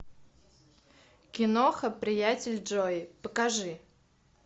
киноха приятель джои покажи